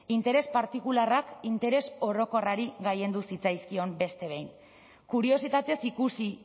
interes partikularrak interes orokorrari gailendu zitzaizkion beste behin kuriositatez ikusi